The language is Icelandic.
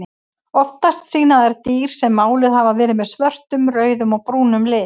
Oftast sýna þær dýr sem máluð hafa verið með svörtum, rauðum og brúnum lit.